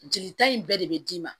Jelita in bɛɛ de be d'i ma